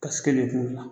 Kasɛrɛ kun la